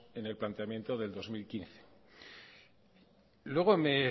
en el planteamiento del dos mil quince luego me